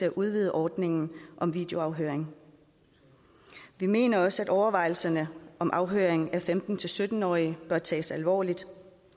at udvide ordningen om videoafhøring vi mener også at overvejelserne om afhøring af femten til sytten årige bør tages alvorligt